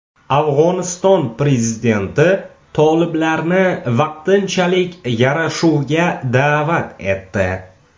Afg‘oniston prezidenti toliblarni vaqtinchalik yarashuvga da’vat etdi.